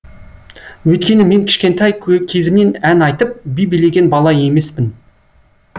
өйткені мен кішкентай кезімнен ән айтып би билеген бала емеспін